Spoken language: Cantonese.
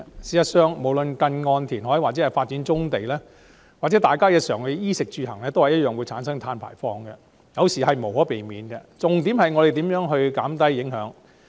事實上，無論是近岸填海或發展棕地，還是日常的衣、食、住、行，都會產生碳排放，這是無可避免的，我們該着重如何減低影響。